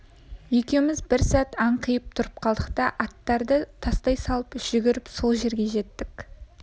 екеуіміз бір сәт анқиып тұрып қалдық та аттарды тастай салып жүгіріп сол жерге жеттік